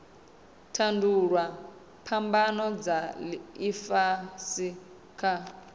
tandululwa phambano dza ifhasi kha